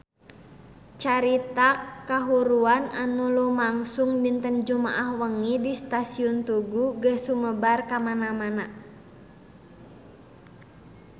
Carita kahuruan anu lumangsung dinten Jumaah wengi di Stasiun Tugu geus sumebar kamana-mana